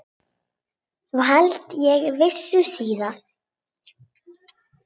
Svo held ég veislu síðar.